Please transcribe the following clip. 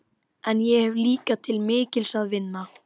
Hún vildi að þær byggju þar saman.